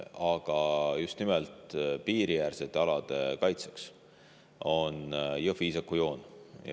Aga just nimelt piiriäärsete alade kaitseks on Jõhvi-Iisaku joon.